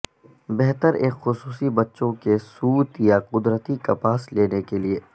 بہتر ایک خصوصی بچوں کے سوت یا قدرتی کپاس لینے کے لئے